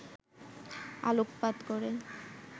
আলোকপাত করে